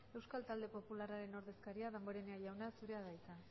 euskal talde popularraren ordezkaria damborenea jauna zurea da hitza